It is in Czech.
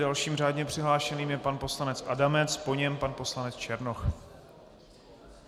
Dalším řádně přihlášeným je pan poslanec Adamec, po něm pan poslanec Černoch.